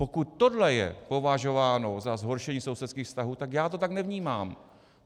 Pokud tohle je považováno za zhoršení sousedských vztahů, tak já to tak nevnímám.